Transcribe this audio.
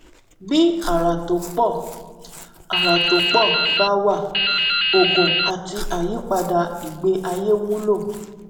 bí àrà tó pọ àrà tó pọ bá wà oògùn àti àyípadà ìgbé ayé wúlò